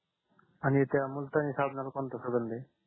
आणि त्या मुलतानी साबणाला कोणता सुगंध आहे